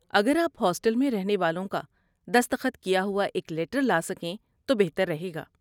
اگر آپ ہاسٹل میں رہنے والوں کا دستخط کیا ہوا ایک لیٹر لا سکیں تو بہتر رہے گا۔